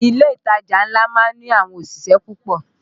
Ilé ìtajà ńlá má ń ní àwọn òṣìṣẹ́ púpọ̀